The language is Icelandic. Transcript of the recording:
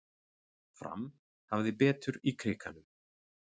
Fram hafði betur í Krikanum